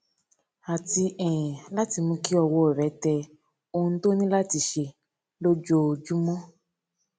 àti um láti mú kí ọwó rè tẹ ohun tó ní láti ṣe lójoojúmó